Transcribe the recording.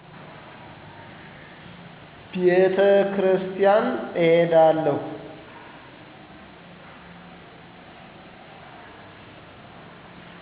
ቤተክርስቲያን እሄዳለሁ